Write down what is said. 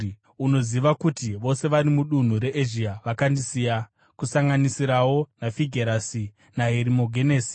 Unoziva kuti vose vari mudunhu reEzhia vakandisiya, kusanganisirawo naFigerasi naHerimogenesi.